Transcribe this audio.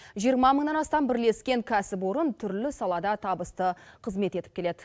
жиырма мыңнан астам бірлескен кәсіпорын түрлі салада табысты қызмет етіп келеді